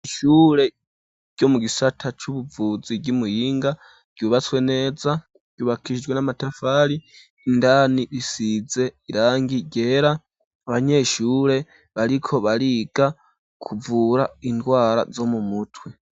Ishure ryo mu gisata c'ubuvuzi ry'imuyinga ryubatswe neza ryubakishijwe n'amatafari, indani risize irangi ryera abanyeshure bariko bariga kuvura indwara zo mumutwe.